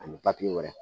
Ani wɛrɛ